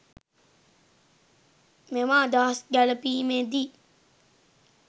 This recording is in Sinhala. මෙම අදහස් ගැළැපීමේ දී